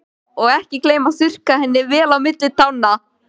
Og ekki gleyma að þurrka henni vel á milli tánna.